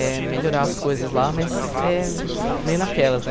É, melhorar as coisas lá, mas é meio naquelas, né?